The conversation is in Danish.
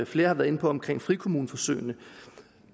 flere har været inde på omkring frikommuneforsøgene